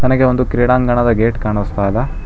ನನಗೆ ಒಂದು ಕ್ರೀಡಾಂಗಣದ ಗೇಟ್ ಕಾಣಸ್ತಾ ಇದೆ.